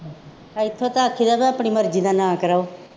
ਇੱਥੋਂ ਤਾਂ ਆਖੀ ਦਾ ਆਪਣੀ ਮਰਜ਼ੀ ਨਾਲ ਨਾ ਕਰਾਉ